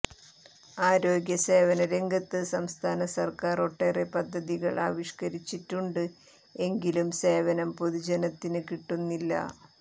ആരോഗ്യ സേവനരംഗത്ത് സംസ്ഥാന സർക്കാർ ഒട്ടേറെ പദ്ധതികൾ ആവിഷ്കരിച്ചിട്ടുണ്ട് എങ്കിലും സേവനം പൊതുജനത്തിന് കിട്ടുന്നില്ല